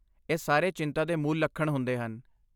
ਇਹ ਸਾਰੇ ਚਿੰਤਾ ਦੇ ਮੂਲ ਲੱਖਣ ਹੁੰਦੇ ਹਨ।